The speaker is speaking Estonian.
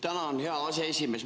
Tänan, hea aseesimees!